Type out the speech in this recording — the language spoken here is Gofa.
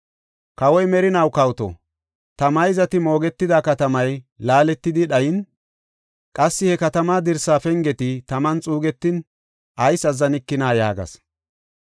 “Kawoy merinaw kawoto! Ta mayzati moogetida katamay laaletidi dhayin, qassi he katamaa dirsa pengeti taman xuugetin ayis azzanikina?” yaagas.